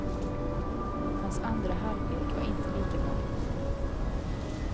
Hans andra halvlek var inte lika bra.